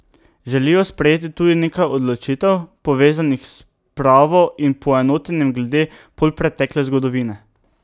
Želijo sprejeti tudi nekaj odločitev, povezanih s spravo in poenotenjem glede polpretekle zgodovine.